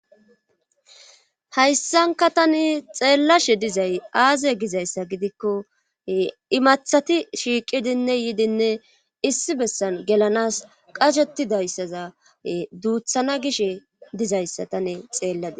hayssanka tani xeellashe dizay aaze gizayssa gidikko imathati shiiqidinne yidinne issi bessan gelanas qashettidayssaza duuthana gishe dizayssa tane xeellade.